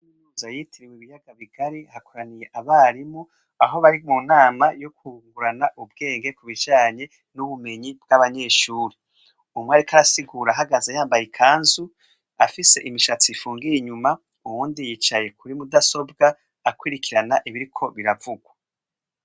Nuza yitira wu ibiyaga bigari hakoraniye abarimu aho bari mu nama yo kungurana ubwenge ku bijanye n'ubumenyi bw'abanyeshuri, umwe areka arasigura ahagaze yambaye ikanzu afise imishatsi ifungiye inyuma uwundi yicaye kuri mudasobwa akwirikirana ibiriko biravugwa.